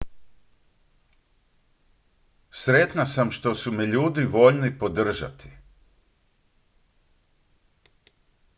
sretna sam što su me ljudi voljni podržati